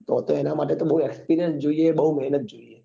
તો તો એના માટે બઉ experience જોઈએ બઉ મહેનત જોઈએ